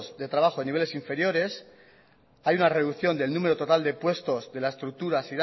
de trabajo de niveles inferiores hay una reducción del número total de puestos de la estructura